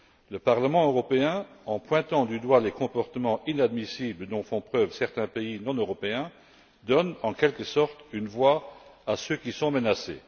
Le Parlement européen, en pointant du doigt les comportements inadmissibles dont font preuve certains pays non européens, donne, en quelque sorte, une voix à ceux qui sont menacés.